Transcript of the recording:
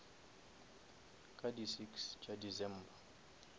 ka di six tša december